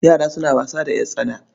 Yara suna wasa da ƴartsana.